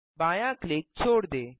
बायाँ क्लिक छोड दें